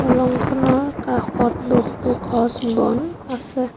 দলংখনৰ কাষত বহুতো গছ বন আছে।